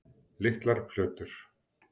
Litlar plötur